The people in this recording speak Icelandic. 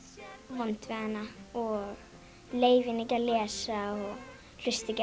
vond við hana og leyfa henni ekki að lesa og hlusta ekki